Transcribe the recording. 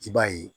I b'a ye